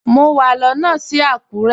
Mọ wà lóno sí Akure.